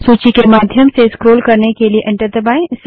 सूची के माध्यम से स्क्रोल करने के लिए एंटर दबायें